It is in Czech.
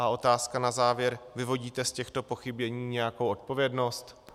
A otázka na závěr: Vyvodíte z těchto pochybení nějakou odpovědnost?